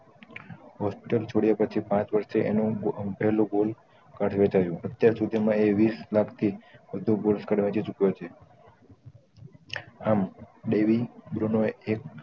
hospital છોડ્યા પછી પાંચ વર્ષે એનું ગોલ્ડ કાર્ડ વેચાયું અત્યાર સુધી માં એ વિશ લાખ થી વધુ આમ દેવી બ્રુનો